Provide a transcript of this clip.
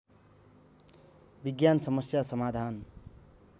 विज्ञान समस्या समाधान